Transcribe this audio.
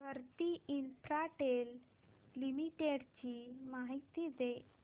Bharti Infratel limited ची माहिती दे